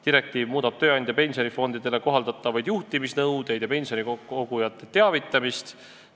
Direktiiv muudab tööandja pensionifondidele kohaldatavaid juhtimisnõudeid ja pensionikogujate teavitamist.